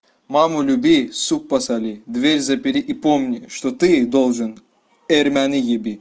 маму люби суп посоли дверь и помни что ты должен и армян не еби